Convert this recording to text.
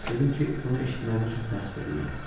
Dedim ki, bunu eşitməyimə çox təəssüf eləyirəm.